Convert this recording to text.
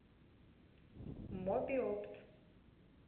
мобиопт